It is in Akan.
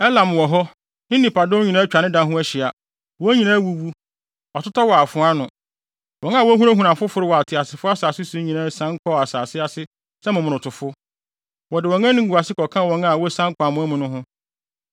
“Elam wɔ hɔ, ne nnipadɔm nyinaa atwa ne da ho ahyia. Wɔn nyinaa awuwu, wɔatotɔ wɔ afoa ano. Wɔn a na wohunahuna afoforo wɔ ateasefo asase so nyinaa sian kɔɔ asase ase sɛ momonotofo. Wɔde wɔn animguase kɔka wɔn a wosian kɔ amoa mu no ho.